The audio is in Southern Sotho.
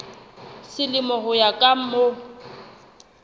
selemo ho ya ka mm